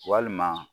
Walima